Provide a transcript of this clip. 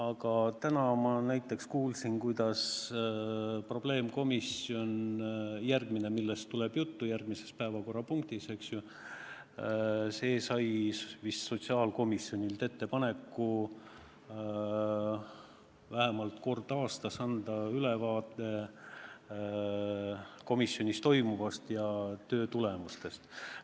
Aga täna ma kuulsin, et see probleemkomisjon, millest tuleb juttu järgmises päevakorrapunktis, sai vist sotsiaalkomisjonilt ettepaneku anda vähemalt kord aastas ülevaade komisjonis toimuvast ja töö tulemustest.